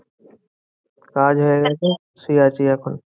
কাজ হয়ে গেছে শুয়ে আছি এখন।